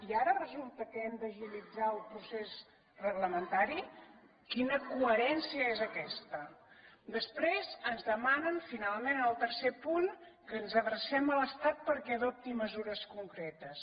i ara resulta que hem d’agilitzar el procés reglamentari quina coherència és aquesta després ens demanen finalment en el tercer punt que ens adrecem a l’estat perquè adopti mesures concretes